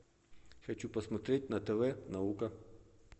хочу посмотреть на тв наука